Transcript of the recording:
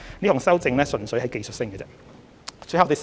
這項修正案純粹是技術性的修訂。